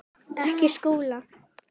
Ekki Skúla!